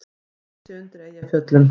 Æðruleysi undir Eyjafjöllum